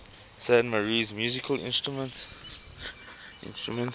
san marinese musical instruments